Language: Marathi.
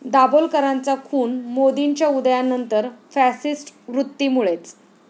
दाभोलकरांचा खून मोदींच्या उदयानंतर फॅसिस्ट वृत्तीमुळेच'